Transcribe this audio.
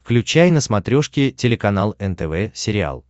включай на смотрешке телеканал нтв сериал